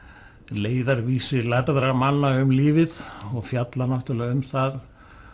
leiðarvísi lærðra manna um lífið og fjallar náttúrulega um það